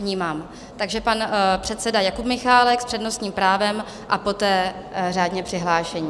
Vnímám - takže pan předseda Jakub Michálek s přednostním právem a poté řádně přihlášení.